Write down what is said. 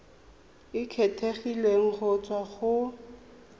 e kgethegileng go tswa go